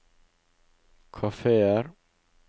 kafeer